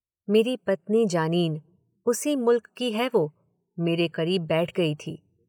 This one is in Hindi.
मेरी पत्नी जानीन, उसी मुल्क की है वो, मेरे करीब बैठ गई थी।